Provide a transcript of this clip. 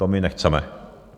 To my nechceme.